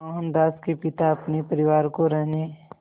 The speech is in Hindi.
मोहनदास के पिता अपने परिवार को रहने